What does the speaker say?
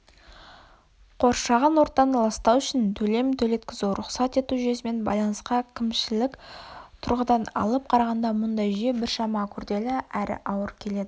қоршаған ортаны ластау үшін төлем төлеткізу рұқсат ету жүйесімен байланысқан кімшілік тұрғыдан алып қарағанда мұндай жүйе біршама күрделі әрі ауыр келеді